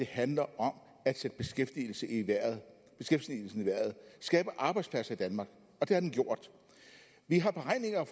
handler om at sætte beskæftigelsen i vejret og skabe arbejdspladser i danmark det har den gjort